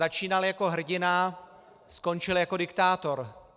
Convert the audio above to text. Začínal jako hrdina, skončil jako diktátor.